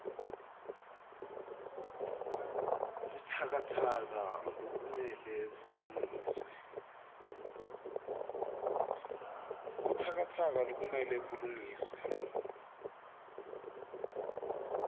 butsakatsaka lokumele bulungiswe